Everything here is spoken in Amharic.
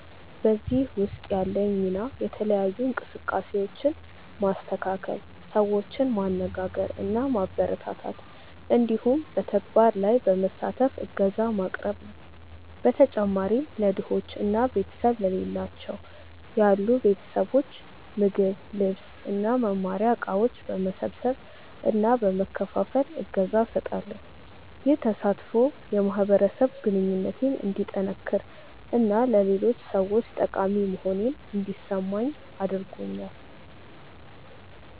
በዚህ ውስጥ ያለኝ ሚና የተለያዩ እንቅስቃሴዎችን ማስተካከል፣ ሰዎችን ማነጋገር እና ማበረታታት እንዲሁም በተግባር ላይ በመሳተፍ እገዛ ማቅረብ ነው። በተጨማሪም ለድሆች እና ቤተሰብ ለሌላቸው ያሉ ቤተሰቦች ምግብ፣ ልብስ እና መማሪያ እቃዎች በመሰብሰብ እና በመከፋፈል እገዛ እሰጣለሁ። ይህ ተሳትፎ የማህበረሰብ ግንኙነቴን እንዲጠነክር እና ለሌሎች ሰዎች ጠቃሚ መሆኔን እንዲሰማኝ አድርጎኛል።